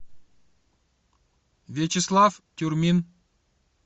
вячеслав тюрмин